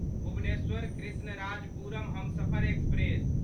Bhubaneswar Krishnarajapuram Humsafar express